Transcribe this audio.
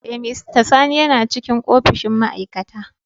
Eh, mr sani yana cikin opishin ma'aikata.